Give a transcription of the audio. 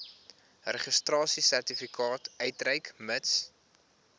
registrasiesertifikaat uitreik mits